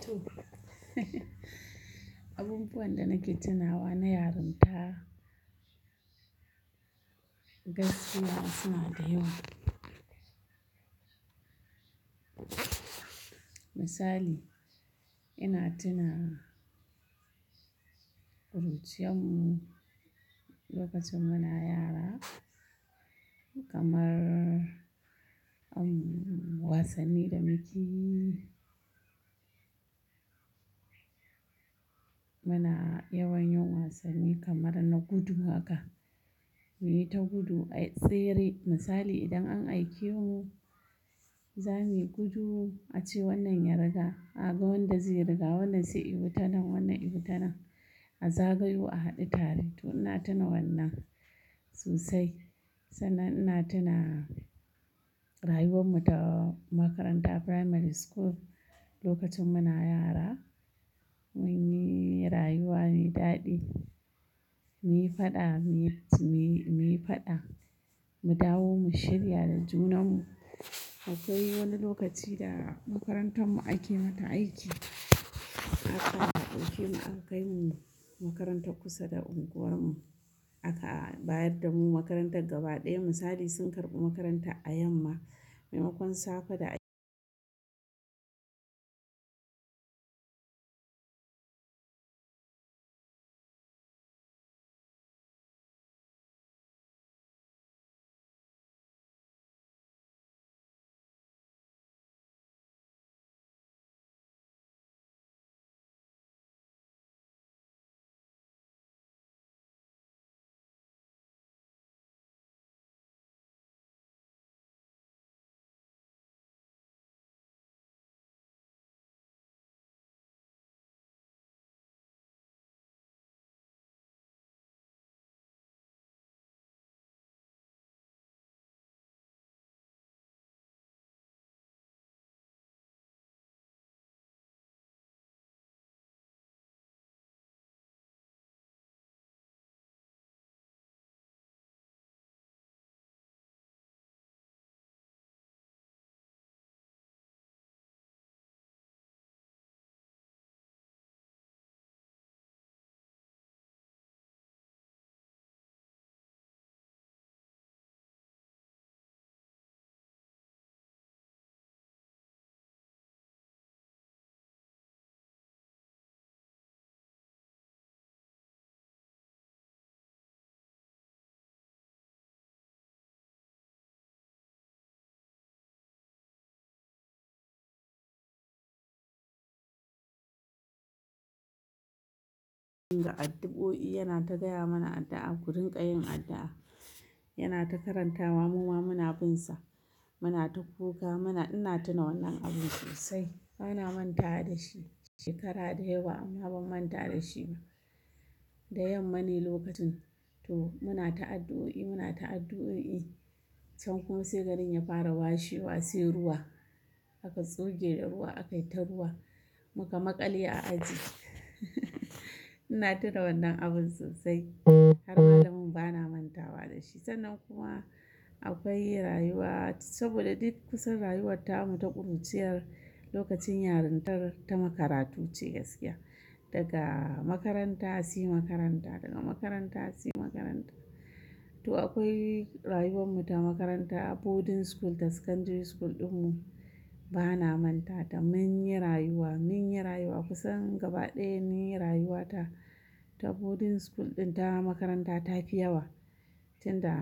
To abu buwan da na ke tuna wa na yarinta. Gaskiya suna da yawa. Misali ina tuna ƙuruciyar mu lokacin muna yara kamar an wasanni da mukeyi. Muna yawan yin wasanni kamar na gudu haka muyi ta gudu ayi tsere misali idan an aike mu zamuyi gudu ace wannan ya riga a ga wanda zai riga wannan sai yi tan nan wannan yi tan nan a zagayo a haɗu tare to ina tuna wannan sosai sannan ina tuna rayuwar mu ta makaranta primary school lokacin muna yara munyi rayuwa mai daɗi muyi faɗa muyi muyi faɗa mu dawo mu shirya da junan mu akwai wani lokaci da makarantar mu ake mata aiki haka da ɗauke mu aka kai mu makaranta kusa da unguwar mu aka bayar da mu makarantar gaba ɗaya misali sun karɓi makaranta a yamma maimakon safe da in ga addu'o'i yana ta gaya mana addu'a ku rinƙa yin addu'a yana ta karanta wa muma muna binsa muna ta kuka muna ina tuna wannan abun sosai bana mantawa da shi shekara dayawa amma ban manta da shi ba da yamma ne lokacin to muna ta addu'o'i muna ta addu'o'i can kuma sai garin ya fara washe wasai ruwa aka tsuge da ruwa aka yi ta ruwa muka maƙale a aji ina tuna wannan abun sosai har malamin bana manta wa da shi sannan kuma akwai rayuwa saboda duk kusan rayuwar tamu ta ƙuruciyar lokacin yarintar ta makarantu ce gaskiya daga makaranta sai makaranta daga makaranta sai makaranta to akwai rayuwar mu ta makaranta boarding school da secondary school ɗin mu bana manta ta mun yi rayuwa mun yi rayuwa kusan gaba ɗaya mun yi rayuwa ta boarding school ɗin ta makaranta ta fi yawa tin da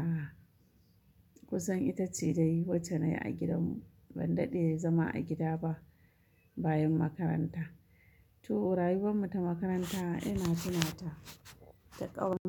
kusan ita ce dai wacce nayi a gidan mu ban daɗe zama a gida ba bayan makaranta to rayuwar mu ta makaranta ina tuna ta da ƙauna.